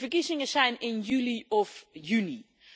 De verkiezingen zijn in juli of juni.